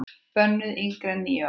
Bönnuð yngri en níu ára.